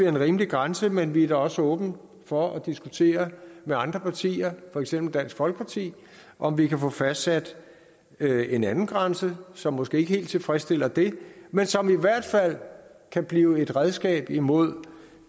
en rimelig grænse men vi er da også åbne for at diskutere med andre partier for eksempel dansk folkeparti om vi kan få fastsat en anden grænse som måske ikke helt tilfredsstiller det men som i hvert fald kan blive et redskab imod